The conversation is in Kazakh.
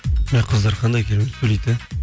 мә қыздар қандай керемет сөйлейді иә